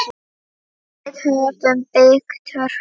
Við höfum byggt Hörpu.